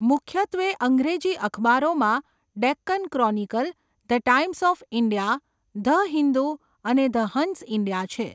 મુખ્યત્વે અંગ્રેજી અખબારોમાં Deccan Chronicle, the Times of India, the Hindu અને ધ હંસ ઈન્ડિયા છે.